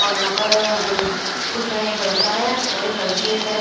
और यहाँ पर कुछ है एक लड़का है एक लड़की है सायद--